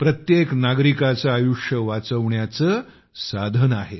प्रत्येक नागरिकाचे आयुष्य वाचविण्याचे साधन आहेत